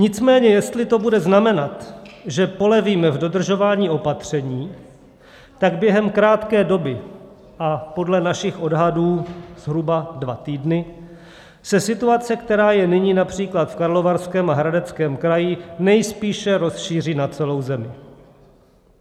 Nicméně jestli to bude znamenat, že polevíme v dodržování opatření, tak během krátké doby - a podle našich odhadů zhruba dva týdny - se situace, která je nyní například v Karlovarském a Hradeckém kraji, nejspíše rozšíří na celou zemi.